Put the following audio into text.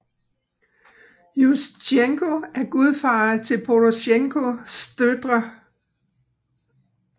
Jusjtjenko er gudfar til Porosjenko døtre